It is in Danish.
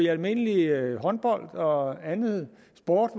almindeligt at håndbold og andet